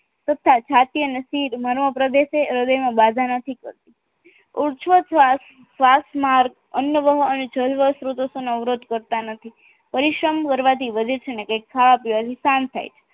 તથા જાતીય નસીબ માનવા પ્રદેશ હૃદય બાધા નથી કરતુ ઉચ્વ શ્વાસ શ્વાસ માર્ગ અન્નવાહ અને જરૂરી વસ્તુઓનો અવરોધો કરતા નથી પરિશ્રમ કરવાથી વધે છે અને કંઈક ખાવા પીવાથી શાંત થાય છે